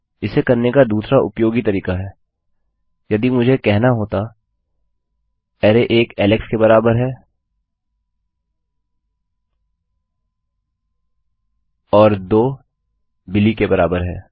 इसे करने का दूसरा उपयोगी तरीका है यदि मुझे कहना होता कि array one is equal to Alex array एक एलेक्स के बराबर है और two is equal to Billy दो बिली के बराबर है